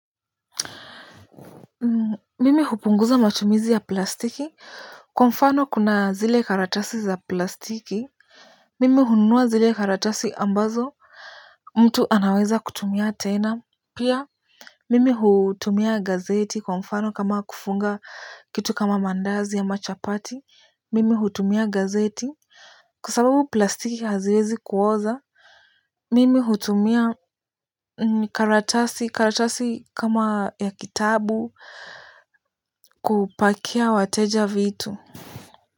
Mimi hupunguza matumizi ya plastiki. Kwa mfano, kuna zile karatasi za plastiki. Mimi hunua zile karatasi ambazo mtu anaweza kutumia tena. Pia. Mimi hutumia gazeti kwa mfano kama kufunga kitu kama mandazi ama chapati. Mimi hutumia gazeti kwa sababu plastiki haziwezi kuoza. Mimi hutumia karatasi karatasi kama ya kitabu kupakia wateja vitu.